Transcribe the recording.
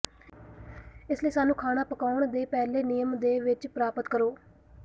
ਇਸ ਲਈ ਸਾਨੂੰ ਖਾਣਾ ਪਕਾਉਣ ਦੇ ਪਹਿਲੇ ਨਿਯਮ ਦੇ ਵਿੱਚ ਪ੍ਰਾਪਤ ਕਰੋ